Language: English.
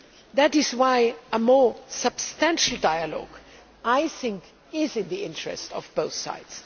That is why a more substantial dialogue is in the interests of both sides.